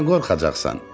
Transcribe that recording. Nədən qorxacaqsan?